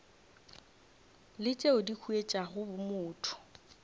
le tšeo di huetšago bomotho